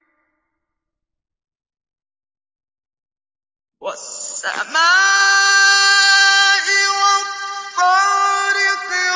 وَالسَّمَاءِ وَالطَّارِقِ